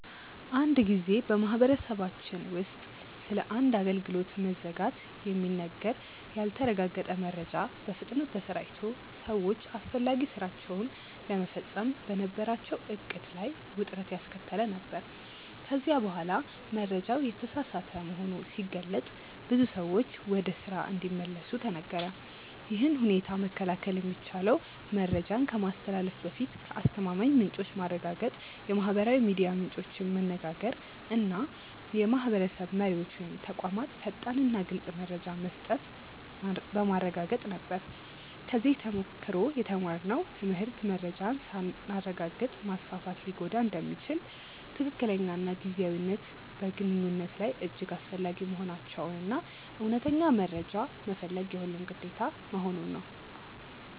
አንድ ጊዜ በማህበረሰባችን ውስጥ ስለ አንድ አገልግሎት መዘጋት የሚነገር ያልተረጋገጠ መረጃ በፍጥነት ተሰራጭቶ ሰዎች አስፈላጊ ሥራቸውን ለመፈጸም በነበራቸው ዕቅድ ላይ ውጥረት ያስከተለ ነበር፤ ከዚያ በኋላ መረጃው የተሳሳተ መሆኑ ሲገለጥ ብዙ ሰዎች ወደ ስራ እንዲመለሱ ተነገረ። ይህን ሁኔታ መከላከል የሚቻለው መረጃን ከማስተላለፍ በፊት ከአስተማማኝ ምንጮች ማረጋገጥ፣ የማህበራዊ ሚዲያ ምንጮችን መነጋገር እና የማህበረሰብ መሪዎች ወይም ተቋማት ፈጣንና ግልፅ መረጃ መስጠት በማረጋገጥ ነበር። ከዚህ ተሞክሮ የተማርነው ትምህርት መረጃን ሳናረጋግጥ ማስፋፋት ሊጎዳ እንደሚችል፣ ትክክለኛነትና ጊዜያዊነት በግንኙነት ላይ እጅግ አስፈላጊ መሆናቸውን እና እውነተኛ መረጃ መፈለግ የሁሉም ግዴታ መሆኑን ነው።